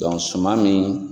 suman nin